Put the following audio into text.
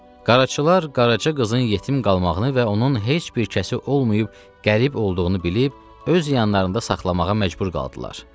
Qaraçılar qaraçı qızın yetim qalmağını və onun heç bir kəsi olmayıb qərib olduğunu bilib, öz yanlarında saxlamağa məcbur qaldılar.